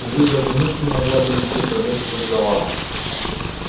увы даже мышь не могла бы нигде пролезть сквозь завал